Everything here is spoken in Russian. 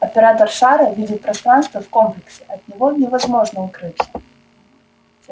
оператор шара видит пространство в комплексе от него невозможно укрыться